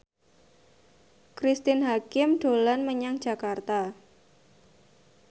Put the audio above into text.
Cristine Hakim dolan menyang Jakarta